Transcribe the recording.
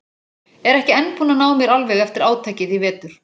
Er ekki enn búin að ná mér alveg eftir átakið í vetur.